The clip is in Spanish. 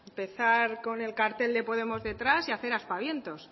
empezar con el cartel de podemos detrás y hacer aspavientos